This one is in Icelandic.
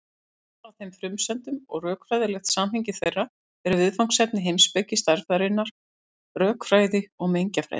Val á þeim frumsendum og rökfræðilegt samhengi þeirra eru viðfangsefni heimspeki stærðfræðinnar, rökfræði og mengjafræði.